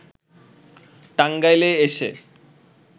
টাঙ্গাইলে এসে